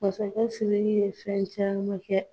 Masakɛ Siriki ye fɛn caman kɛ.